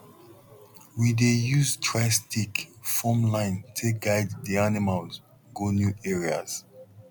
we dey use dry stick form line take guide d animals go new areas